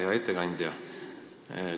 Hea ettekandja!